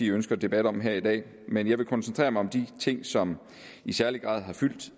ønsker debat om her i dag men jeg vil koncentrere mig om de ting som i særlig grad har fyldt